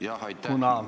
Jah, aitäh!